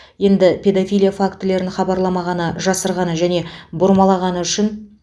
енді педофилия фактілерін хабарламағаны жасырғаны және бұрмалағаны үшін